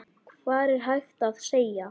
Hvað er hægt að segja.